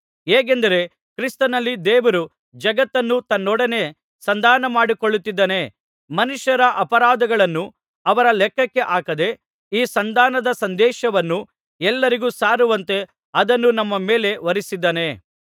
ಹೇಗೆಂದರೆ ಕ್ರಿಸ್ತನಲ್ಲಿ ದೇವರು ಜಗತ್ತನ್ನು ತನ್ನೊಡನೆ ಸಂಧಾನಮಾಡಿಕೊಳ್ಳುತ್ತಿದ್ದಾನೆ ಮನುಷ್ಯರ ಅಪರಾಧಗಳನ್ನು ಅವರ ಲೆಕ್ಕಕ್ಕೆ ಹಾಕದೇ ಈ ಸಂಧಾನದ ಸಂದೇಶವನ್ನು ಎಲ್ಲರಿಗೂ ಸಾರುವಂತೆ ಅದನ್ನು ನಮ್ಮ ಮೇಲೆ ಹೊರಿಸಿದ್ದಾನೆ